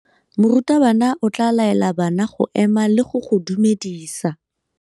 Morutabana o tla laela bana go ema le go go dumedisa.